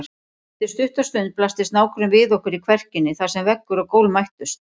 Eftir stutta stund blasti snákurinn við okkur í kverkinni þar sem veggur og gólf mættust.